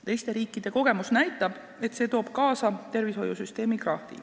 Teiste riikide kogemus näitab, et see tooks kaasa tervishoiusüsteemi krahhi.